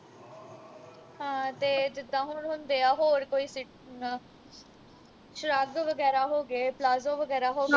ਹਾਂ ਤੇ ਜਿੱਦਾ ਹੁਣ ਹੁੰਦੇ ਆ ਹੋਰ ਕੋਈ ਸ਼ਰੱਗ ਵਗੈਰਾ ਹੋ ਗਏ ਪਲਾਜੋ ਵਗੈਰਾ ਹੋ ਗਏ